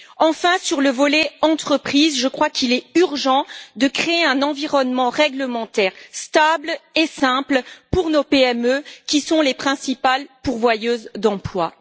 Enfin, sur le volet entreprises, je crois qu'il est urgent de créer un environnement réglementaire stable et simple pour nos PME, qui sont les principales pourvoyeuses d'emplois.